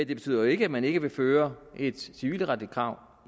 det betyder jo ikke at man ikke vil føre et civilretligt krav